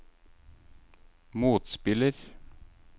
motspiller